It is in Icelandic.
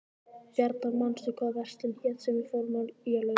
Bjarnar, manstu hvað verslunin hét sem við fórum í á laugardaginn?